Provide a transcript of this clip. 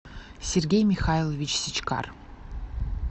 сергей михайлович сичкар